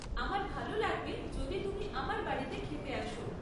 আমার ভালো লাগবে যদি তুমি আমার বাড়িতে খেতে আসো।